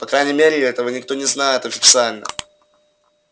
по крайней мере этого никто не знает официально